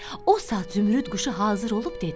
O saat Zümrüd quşu hazır olub dedi: